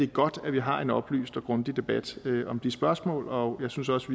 godt at vi har en oplyst og grundig debat om de spørgsmål og jeg synes også